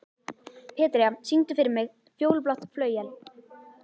Petrea, syngdu fyrir mig „Fjólublátt flauel“.